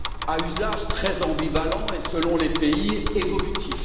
à usage très ambivalent et, selon les pays, évolutif.